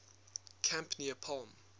camp near palm